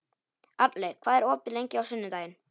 Arnlaug, hvað er opið lengi á sunnudaginn?